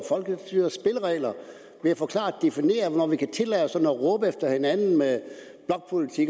folkestyrets spilleregler ved at få klart defineret hvornår vi kan tillade os at råbe efter hinanden med